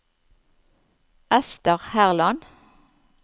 Ester Herland